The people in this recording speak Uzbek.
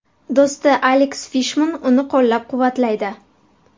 Do‘sti Aleks Fishman uni qo‘llab-quvvatlaydi.